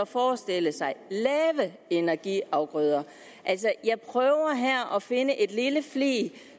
forestille sig lave energiafgrøder altså jeg prøver her at finde en lille flig